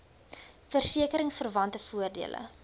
verseke ringsverwante voordele